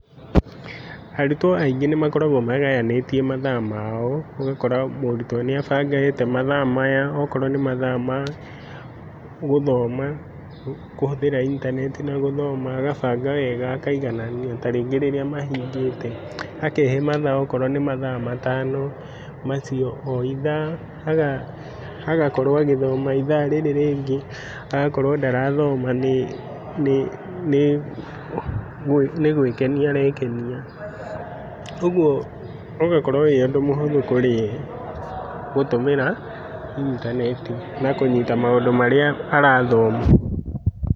Arutwo aingĩ nĩmakoragwo magayanĩtie mathaa mao, ũgakora mũrutwo nĩ abangĩte mathaa maya okorwo nĩ mathaa ma, gũthoma, kũhũthĩra intanenti na gũthoma, agabanga wega akaiganania, tarĩngĩ marĩa mahingĩte. Akehe mathaa okorwo nĩmathaa matano macio o ithaa agakorwo agĩthoma ithaa rĩrĩ rĩngĩ agakorwo ndarathoma nĩ nĩ nĩgwĩkenia arekenia ũguo ũgakorwo wĩũndũ mũhũthũ kũrĩ yee gũtũmĩra intanenti na kũnyita maũndũ marĩa arathoma.